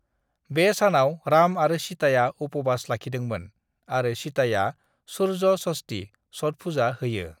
बे सानाव राम आरो सीताया उपवास लाखिदोंमोन आरो सीताया सुर्य षष्ठी / छठ पुजा होयो।